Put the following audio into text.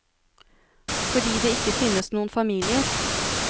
Fordi det ikke finnes noen familier.